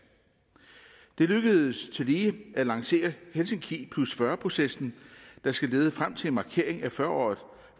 det lykkedes tillige at lancere helsinki 40 processen der skal lede frem til en markering af fyrre året